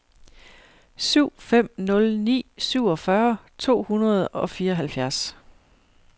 syv fem nul ni syvogfyrre to hundrede og fireoghalvfjerds